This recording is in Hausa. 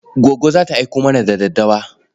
Goggo za ta aiko mana da daddawa.